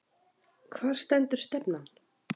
Hvar stendur stefnan?